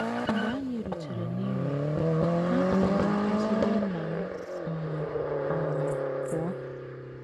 Mgbe anyị rutere n’Imo, ha kpọọrọ ezigbo nna m m um pụọ.